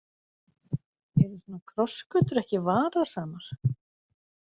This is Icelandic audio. Eru svona krossgötur ekki varasamar?